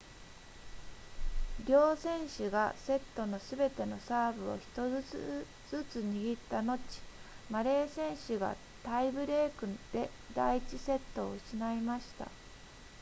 両選手がセットのすべてのサーブを1つずつ握った後マレー選手がタイブレークで第1セットを失いました